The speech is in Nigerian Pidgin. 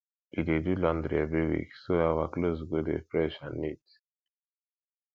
we dey do laundry every week so our clothes go dey fresh and neat